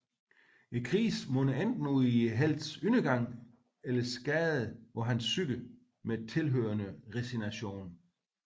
Krisen munder enten ud i heltens undergang eller skader på hans psyke med tilhørende resignation